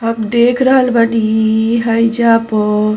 और देख रहल बनी हाईजा प --